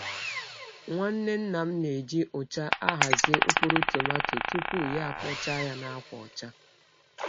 Nwanne nna m na-eji ụcha ahazi mkpụrụ tomato tupu ya akpọchaa ya na akwa ọcha.